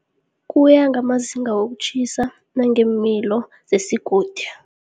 Kuya ngamazinga wokutjhisa nangeemilo zesigodi.